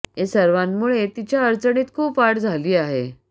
या सर्वांमुळे तिच्या अडचणीत खूप वाढ झाली आहे